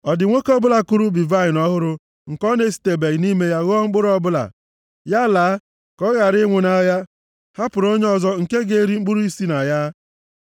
Ọ dị nwoke ọbụla kụrụ ubi vaịnị ọhụrụ nke ọ na-esitebeghị nʼime ya ghọọ mkpụrụ ọbụla? Ya laa, ka ọ ghara ịnwụ nʼagha, hapụrụ ya onye ọzọ nke ga-eri mkpụrụ si na ya!